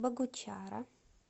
богучара